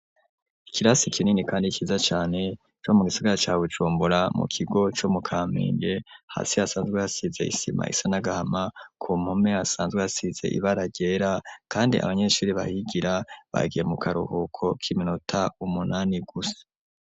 Ikirasi kinini kandi ciza cane co mu gisagara ca Bujumbura mu kigo co mu Kamenge, hasi hasanzwe hasize isima isa n'agahama, ku mpume hasanzwe hasize ibara ryera, kandi abanyeshuri bahigira bagiye mu karuhuko k'iminota umunani gusa.